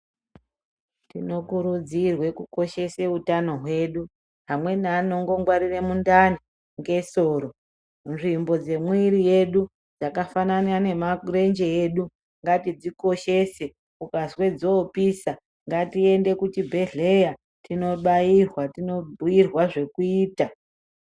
Tino kurudzirwe ku koshesa utano hwedu vamweni vanongo ngwarire mundani nge soro nzvimbo dze mwiri yedu dzaka fanana ne marenje edu ngatidzi koshese ukazwe dzopisa ngati ende ku chibhedhleya tino bairwa tino bhuyirwa zveku ita.